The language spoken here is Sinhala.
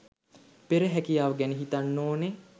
පෙර හැකියාව ගැන හිතන්න ඕනේ